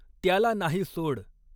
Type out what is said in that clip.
त्याला नाही सोड.